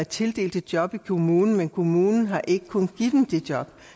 tildelt et job i kommunen men kommunen har ikke kunnet give dem det job